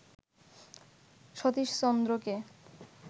Satish চন্দ্রকে